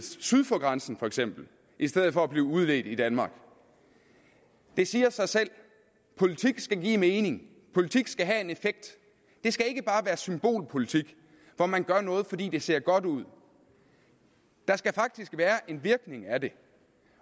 syd for grænsen i stedet for at blive udledt i danmark det siger sig selv at politik skal give mening politik skal have en effekt det skal ikke bare være symbolpolitik hvor man gør noget fordi det ser godt ud der skal faktisk være en virkning af det